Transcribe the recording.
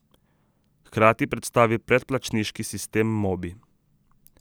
Hkrati predstavi predplačniški sistem Mobi.